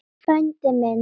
Frændi minn!